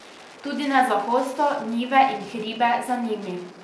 Tudi ne za hosto, njive in hribe za njimi.